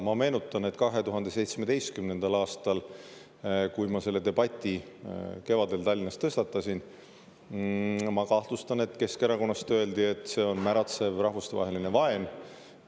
Ma meenutan, et 2017. aastal, kui ma selle debati kevadel Tallinnas tõstatasin, ma kahtlustan, et Keskerakonnast öeldi, et see on märatsev rahvustevaheline vaen.